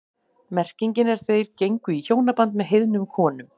Merkingin er þeir gengu í hjónaband með heiðnum konum.